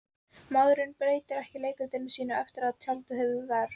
Maður breytir ekki leikritinu sínu eftir að tjaldið hefur ver